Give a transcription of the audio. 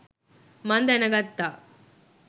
මං දැනගත්තා.